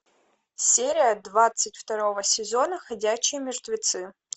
серия двадцать второго сезона ходячие мертвецы